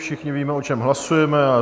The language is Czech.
Všichni víme, o čem hlasujeme.